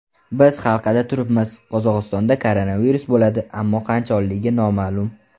Biz halqada turibmiz, Qozog‘istonda koronavirus bo‘ladi, ammo qachonligi noma’lum.